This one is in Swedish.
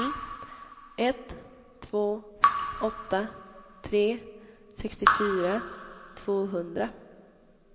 ett två åtta tre sextiofyra tvåhundra